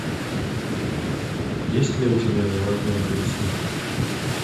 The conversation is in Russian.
есть ли у тебя заводной апельсин